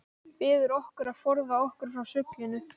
Biður okkur að forða okkur frá sullinu.